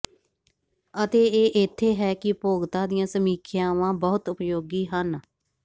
ਅਤੇ ਇਹ ਇੱਥੇ ਹੈ ਕਿ ਉਪਭੋਗਤਾ ਦੀਆਂ ਸਮੀਖਿਆਵਾਂ ਬਹੁਤ ਉਪਯੋਗੀ ਹਨ